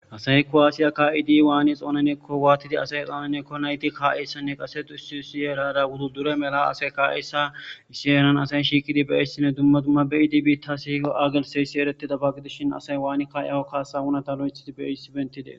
Asay ko waasiya ka'idi waani xoonanekko waatidi asay xoonanekko nayti kaa'eyssanne qase dusi siyeerada wudu dure mela asay kaa'eyssaisiyenan asayi shiikidi beissine dumma dumma beidib tasihiko aagelseyssi eretida baggidishin asay waani kaayaho kaasawunata lo'ethidi beissi bentide.